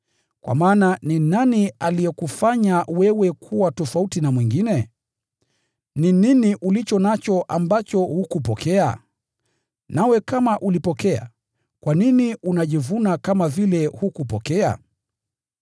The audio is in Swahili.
Kwa maana ni nani aliyewafanya kuwa tofauti na wengine? Ni nini mlicho nacho ambacho hamkupokea? Nanyi kama mlipokea, kwa nini mnajivuna kama vile hamkupokea?